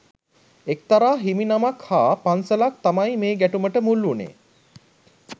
එක්තරා හිමිනමක් හා පන්සලක් තමයි මේ ගැටුමට මුල් වුණේ